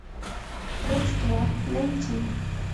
родство найти